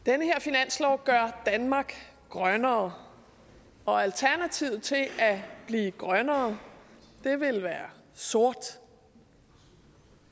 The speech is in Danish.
den her finanslov gør danmark grønnere og alternativet til at blive grønnere ville være sort